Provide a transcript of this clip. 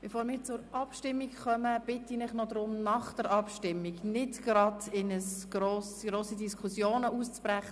Bevor wir zur Abstimmung kommen, möchte ich Sie bitten, danach nicht in grosse Diskussionen auszubrechen.